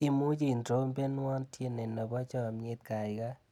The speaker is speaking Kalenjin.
Imuchi itrompenwa tyenii nebo chamyet kaikai?